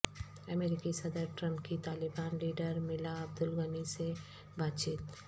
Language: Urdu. امریکی صدر ٹرمپ کی طالبان لیڈرملا عبدالغنی سے بات چیت